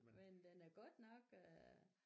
Men den er godt nok øh